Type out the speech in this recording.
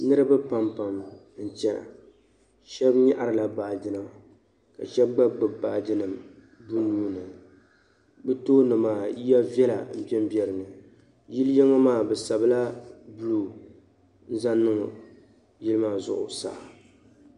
Niriba pam pam n-chena shɛb nyaɣrila baagi nima ka sheb gba gbubi baagi nima bɛ nuu ni bɛ tooni maa yiya viɛli n-ben be dinni yili yin maa bɛ sabila buluu n zaŋ niŋ yili maa zuɣu saa